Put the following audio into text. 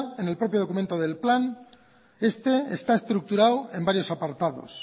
en propio documento del plan este está estructurado en varios apartados